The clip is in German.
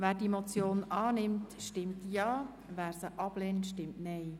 Wer die Motion annimmt, stimmt Ja, wer diese ablehnt, stimmt Nein.